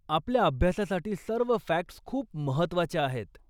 आपल्या अभ्यासासाठी सर्व फॅक्ट्स खूप महत्वाच्या आहेत.